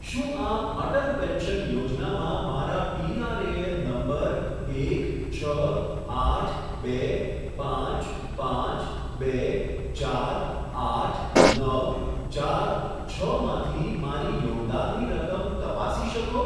શું આપ અટલ પેન્શન યોજનામાં મારા પીઆરએએન નંબર એક છ આઠ બે પાંચ પાંચ બે ચાર આઠ નવ ચાર છમાંથી મારી યોગદાનની રકમ તપાસી શકો?